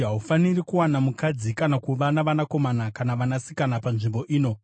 “Haufaniri kuwana mukadzi kana kuva navanakomana kana vanasikana panzvimbo ino.”